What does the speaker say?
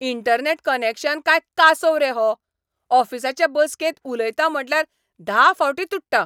Internet connection काय कासोव रे हो! ऑफिसाचे बसकेंत उलयता म्हटल्यार धा फावटीं तुट्टा.